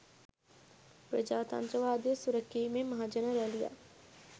ප්‍රජාතන්ත්‍රවාදය සුරැකීමේ මහජන රැළියක්